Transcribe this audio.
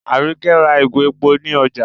Àríkẹ́ ra ìgò epo ní ọjá